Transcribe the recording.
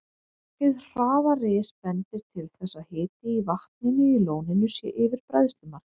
Hið hraða ris bendir til þess, að hiti í vatninu í lóninu sé yfir bræðslumarki.